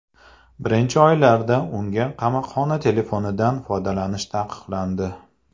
Birinchi oylarda unga qamoqxona telefonidan foydalanish taqiqlandi.